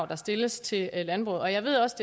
der stilles til landbruget og jeg ved også